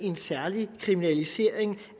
en særlig kriminalisering